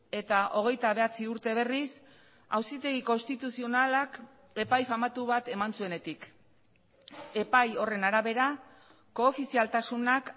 eta hogeita bederatzi urte berriz auzitegi konstituzionalak epai famatu bat eman zuenetik epai horren arabera koofizialtasunak